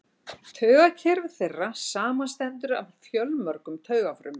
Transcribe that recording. Taugakerfi þeirra samanstendur af fjölmörgum taugafrumum.